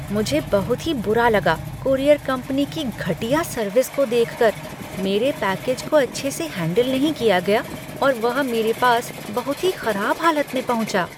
मुझे बहुत ही बुरा लगा कूरियर कंपनी की घटिया सर्विस को देख कर। मेरे पैकेज को अच्छे से हैंडल नहीं किया गया और वह मेरे पास बहुत ही खराब हालत में पहुँचा।